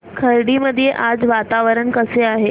खर्डी मध्ये आज वातावरण कसे आहे